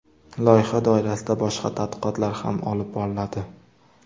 Loyiha doirasida boshqa tadqiqotlar ham olib boriladi.